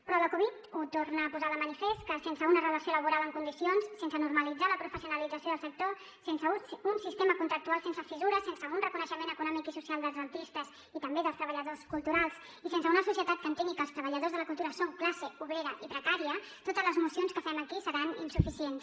però la covid ho torna a posar de manifest que sense una relació laboral en condicions sense normalitzar la professionalització del sector sense un sistema contractual sense fissures sense un reconeixement econòmic i social dels artistes i també dels treballadors culturals i sense una societat que entengui que els treballadors de la cultura són classe obrera i precària totes les mocions que fem aquí seran insuficients